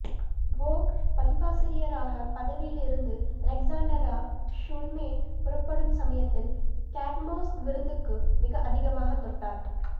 வோக் பதிப்பாசிரியராக பதவியில் இருந்து அலெக்ஸாண்ட்ரா ஷுல்மேன் புறப்படும் சமயத்தில் கேட் மோஸ் விருந்துக்கு மிக அதிகமாக தொட்டார்